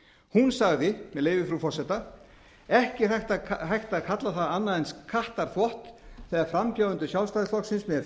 hún sagði með leyfi frú forseta ekki er hægt að kalla það annað en kattarþvott þegar frambjóðandendur sjálfstæðisflokksins með